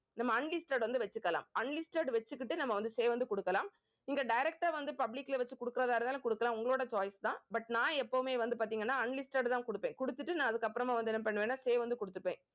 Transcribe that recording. நம்ம unlisted வந்து வச்சுக்கலாம் unlisted வச்சுக்கிட்டு நம்ம வந்து save வந்து குடுக்கலாம். இங்க direct ஆ வந்து public ல வச்சு குடுக்கறதா இருந்தாலும் குடுக்கலாம். உங்களோட choice தான் but நான் எப்பவுமே வந்து பத்தி unlisted தான் கொடுப்பேன். கொடுத்துட்டு நான் அதுக்கப்புறமா வந்து என்ன பண்ணுவேன்னா save வந்து கொடுத்துப்பேன்